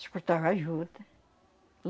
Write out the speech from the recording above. Escutava a juta.